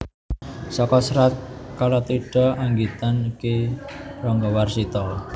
Saka Serat Kalatidha anggitan Ki Ranggawarsita